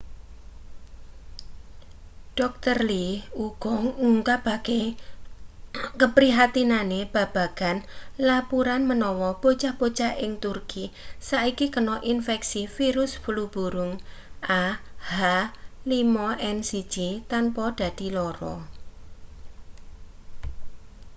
dr. lee uga ngungkapake kaprihatinane babagan lapuran menawa bocah-bocah ing turki saiki kena infeksi virus flu burung ah5n1 tanpa dadi lara